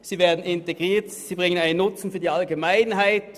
Sie werden integriert und bringen einen Nutzen für die Allgemeinheit.